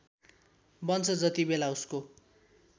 बन्छ जतिबेला उसको